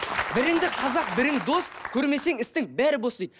біріңді қазақ бірің дос көрмесең істің бәрі бос дейді